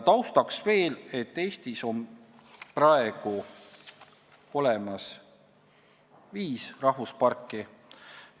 Taustaks veel nii palju, et Eestis on praegu olemas viis rahvusparki.